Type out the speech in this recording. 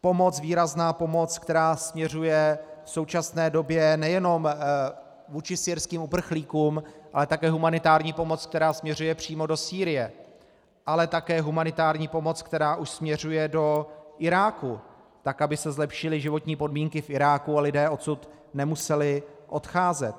Pomoc, výrazná pomoc, která směřuje v současné době nejenom vůči syrským uprchlíkům, ale také humanitární pomoc, která směřuje přímo do Sýrie, ale také humanitární pomoc, která už směřuje do Iráku, tak aby se zlepšily životní podmínky v Iráku a lidé odsud nemuseli odcházet.